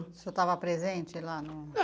O senhor estava presente lá no